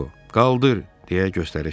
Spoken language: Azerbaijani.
Disko: "Qaldır!" deyə göstəriş verdi.